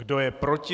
Kdo je proti?